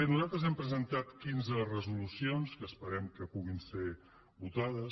nosaltres hem presentat quinze resolucions que esperem que puguin ser votades